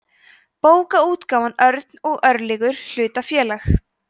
bókaútgáfan örn og örlygur hlutafélag